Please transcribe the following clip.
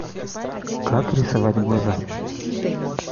как рисовать глаза